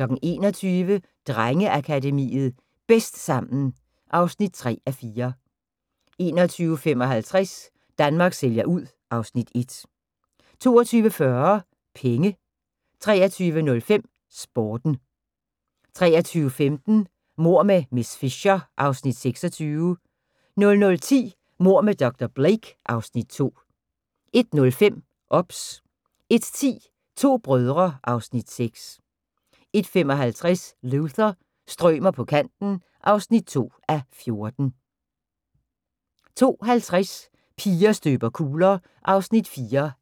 21:00: Drengeakademiet – Bedst sammen (3:4) 21:55: Danmark sælger ud (Afs. 1) 22:40: Penge 23:05: Sporten 23:15: Mord med miss Fisher (Afs. 26) 00:10: Mord med dr. Blake (Afs. 2) 01:05: OBS 01:10: To brødre (Afs. 6) 01:55: Luther – strømer på kanten (2:14) 02:50: Piger støber kugler